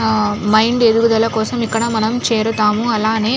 Mind ఎదుగుదల కోసం ఇక్కడ మనం చేరుతాము. అలానే --